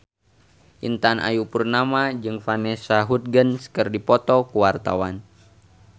Intan Ayu Purnama jeung Vanessa Hudgens keur dipoto ku wartawan